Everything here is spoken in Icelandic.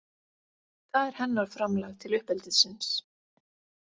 Það er hennar framlag til uppeldisins.